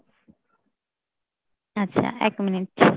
আচ্ছা এক minute